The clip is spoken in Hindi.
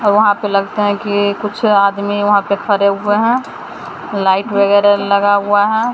वहाँ पे लगता है कि कुछ आदमी वहां पे खड़े हुए हैं लाइट वगैरह लगा हुआ है।